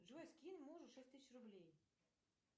джой скинь мужу шесть тысяч рублей